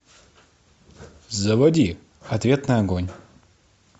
заводи ответный огонь